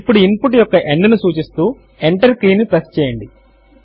ఇప్పుడు input యొక్క end ను సూచిస్తూ ఎంటర్ కీ ను ప్రెస్ చేయండి